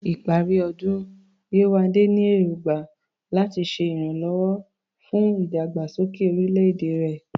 Ní ìparí ọdún, Yewande ní èrògbà láti ṣe ìrànwọ́ fún ìdàgbàsókè orílẹ̀-èdè rẹ̀.